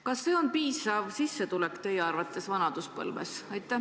Kas see on teie arvates piisav sissetulek vanaduspõlves?